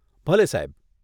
ભલે, સાહેબ.